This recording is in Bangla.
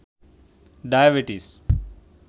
ডায়বেটিস